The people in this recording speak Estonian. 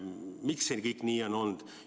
Miks see kõik nii on olnud?